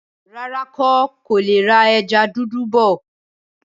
Rárá, ń kò lè rà ẹja dúdú bọ̀.